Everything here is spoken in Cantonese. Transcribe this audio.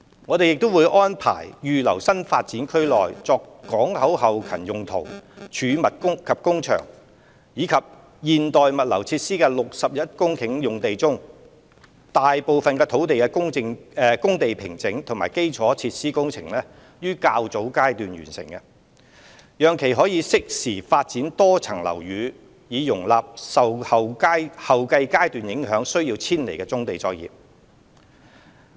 我們亦會安排預留新發展區內作港口後勤用途、貯物及工場和現代物流設施的61公頃用地，讓大部分工地平整及基礎設施工程於較早階段完成，以便適時發展多層樓宇，容納受後續階段影響需要遷離的棕地作業。